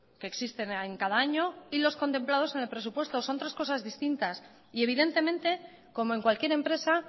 que existen en cada año y los contemplados en el presupuesto son tres cosas distintas y evidentemente como en cualquier empresa